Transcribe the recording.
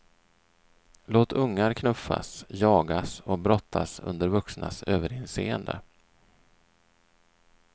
Låt ungar knuffas, jagas, och brottas under vuxnas överinseende.